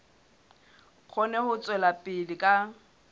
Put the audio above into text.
kgone ho tswela pele ka